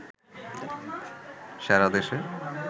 সারা দেশে